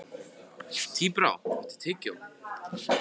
Tíbrá, áttu tyggjó?